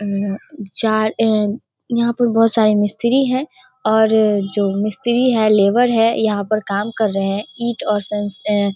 अम चार ऐं यहाँ पे बहोत सारे मिस्त्री हैं और जो मिस्त्री है लेबर है यहाँ पर काम कर रहे हैं। ईट और .--